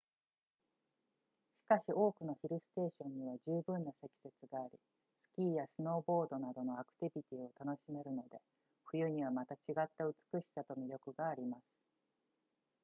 しかし多くのヒルステーションには十分な積雪がありスキーやスノーボードなどのアクティビティを楽しめるので冬にはまた違った美しさと魅力があります